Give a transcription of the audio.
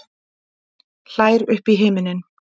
Hlær upp í himininn.